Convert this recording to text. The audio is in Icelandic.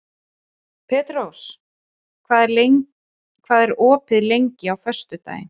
Petrós, hvað er opið lengi á föstudaginn?